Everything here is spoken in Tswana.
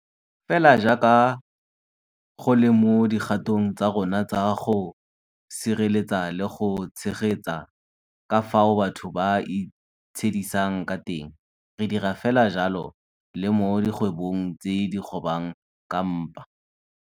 Fela jaaka go le mo dikgatong tsa rona tsa go sireletsa le go tshegetsa ka fao batho ba itshedisang ka teng, re dira fela jalo le mo dikgwebong tse di kgobang ka mpa.